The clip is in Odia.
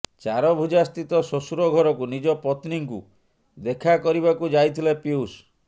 ଚାରଭୁଜା ସ୍ଥିତ ଶ୍ବଶୁର ଘରକୁ ନିଜ ପତ୍ନୀଙ୍କୁ ଦେଖାକରିବାକୁ ଯାଇଥିଲେ ପୀୟୁଷ